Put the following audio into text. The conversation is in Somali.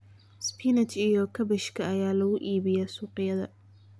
Spinach iyo Kaabashka ayaa lagu iibiyaa suuqyada.